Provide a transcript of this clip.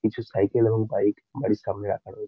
কিছু সাইকেল এবং বাইক গাড়ি সামনে রাখা রয়েছ--